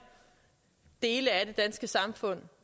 i dele af det danske samfund